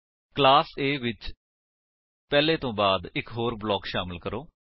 class A ਵਿੱਚ ਪਹਿਲੇ ਤੋ ਬਾਅਦ ਇੱਕ ਹੋਰ ਬਲਾਕ ਸ਼ਾਮਿਲ ਕਰੋ